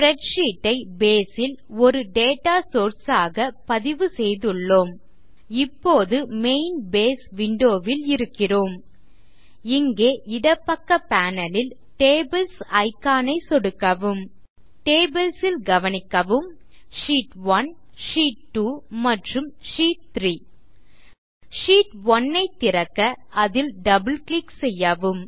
spreadsheet ஐ Base ல் ஒரு டேட்டா சோர்ஸ் ஆக பதிவு செய்துள்ளோம் இப்போது மெயின் பேஸ் விண்டோ ல் இருக்கிறோம் இங்கே இடப்பக்க பேனல் ல் டேபிள்ஸ் இக்கான் ஐ சொடுக்கவும் டேபிள்ஸ் ல் கவனிக்கவும் ஷீட்1 ஷீட்2 மற்றும் ஷீட்3 ஷீட்1 ஐ திறக்க அதில் டபிள் கிளிக் செய்யவும்